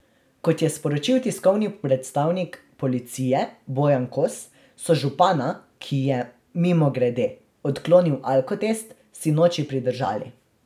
Kot je sporočil tiskovni predstavnik policije Bojan Kos, so župana, ki je, mimogrede, odklonil alkotest, sinoči pridržali.